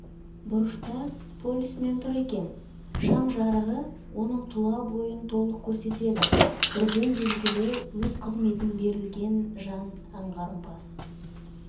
бұрышта полисмен тұр екен шам жарығы оның тұла бойын толық көрсетеді бірден белгілі өз қызмтін берілген жан аңғарымпаз